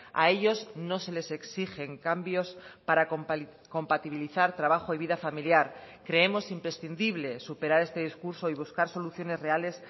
a ellos no se les exigen cambios para compatibilizar trabajo y vida familiar creemos imprescindible superar este discurso y buscar soluciones reales